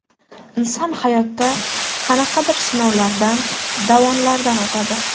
Inson hayotda qanaqadir sinovlardan, davonlardan o‘tadi.